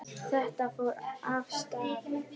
Þetta fór vel af stað.